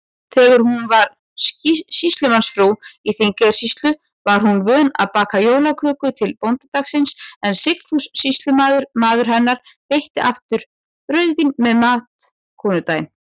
Þegar hún var sýslumannsfrú í Þingeyjarsýslu, var hún vön að baka jólaköku til bóndadagsins, en Sigfús sýslumaður, maður hennar, veitti aftur rauðvín með mat konudaginn.